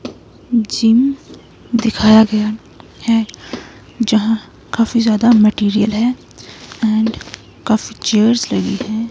Gym दिखाया गया है जहां काफी ज्यादा मैटेरियल है एंड काफी चेयरज़ लगी हैं।